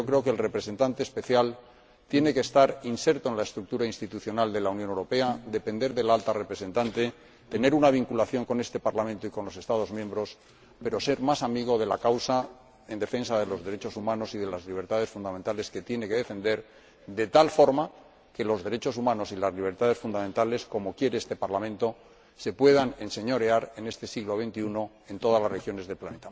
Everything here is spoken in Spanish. Pues yo creo que el Representante Especial tiene que estar inserto en la estructura institucional de la Unión Europea, depender de la Alta Representante, tener una vinculación con este Parlamento y con los Estados miembros, pero ser más amigo de la causa de la defensa de los derechos humanos y de las libertades fundamentales, de tal forma que los derechos humanos y las libertades fundamentales, como quiere este Parlamento, se puedan enseñorear en este siglo XXI en todas las regiones del planeta.